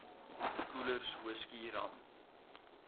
koelers whisky rum